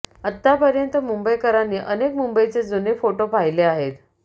आतापर्यंत मुंबईकरांनी अनेक मुंबईचे जुने फोटो पाहिले आहेत